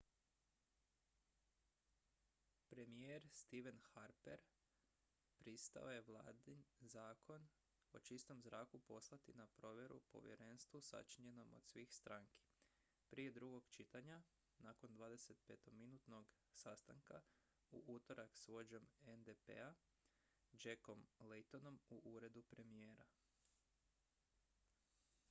premijer stephen harpher pristao je vladin zakon o čistom zraku poslati na provjeru povjerenstvu sačinjenom od svih stranki prije drugog čitanja nakon 25-minutnog sastanka u utorak s vođom ndp-a jackom laytonom u uredu premijera